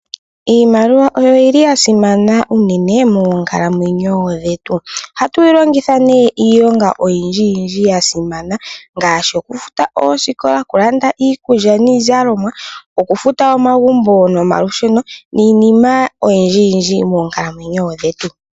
Iimaliwa oyasimana unene moonkalamwenyo dhetu. Ohatu yilongitha iilonga oyindji yindji yasimana ngaashi okufuta oosikola, okulanda iikulya niizalomwa, okufuta omagumbo nomalusheno, niinima oyindji yindji moonkalamwenyo dhetu.